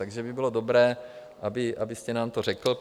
Takže by bylo dobré, abyste nám to řekl.